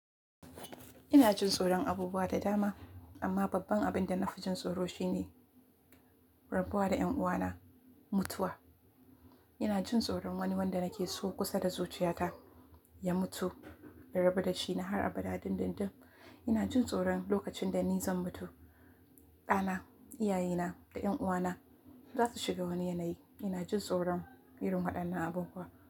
Ina jin tsoron abubuwa da dama amma babban abin da na fi jin tsoro shine rabuwa da ƴan uwana, mutuwa. Ina jin tsoron wani wanda nake so kusa da zuciyata ya mutu, in rabu da shi na har abada dindindim. Ina jin tsoron lokacin da ni zan mutu, ɗana, iyaye na, da ƴan uwana. Za su shiga wani yanayi. Ina jin tsoron irin waɗannan abubuwa.